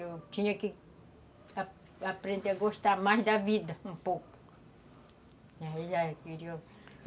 Eu tinha que aprender a gostar mais da vida, um pouco